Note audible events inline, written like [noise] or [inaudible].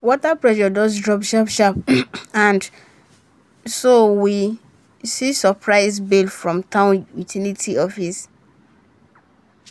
water pressure just drop sharp sharp [coughs] and so we see surprise bill from town utility office.